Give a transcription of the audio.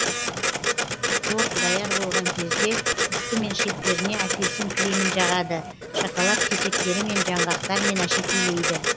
торт даяр болған кезде үсті мен шеттеріне апельсин кремін жағады шоколад кесектерімен жаңғақтармен әшекейлейді